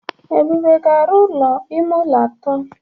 Ebube ga-arụ ụlọ ime ụlọ atọ.